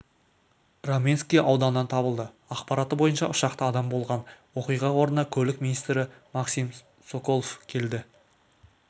раменский ауданынан табылды ақпараты бойынша ұшақта адам болған оқиға орнына көлік министрі максим соколов келді